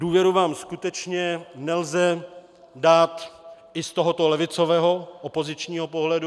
Důvěru vám skutečně nelze dát i z tohoto levicového opozičního pohledu.